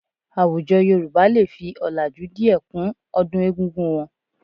Àwùjọ Yorùbá lè fi ọ̀làjú díẹ̀ kún ọdún egúngún wọn